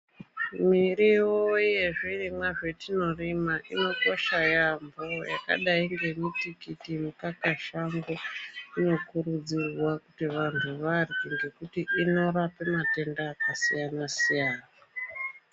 Mirivo yezvirimwa zvatinorima inokosha yaambo, yakadai nemutikiti nemukakashango inokurudzirwa kuti vantu varye ngekuti inorapa matenda akasiyana-siyana.